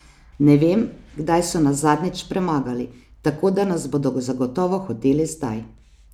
Ne vem, kdaj so nas zadnjič premagali, tako da nas bodo zagotovo hoteli zdaj.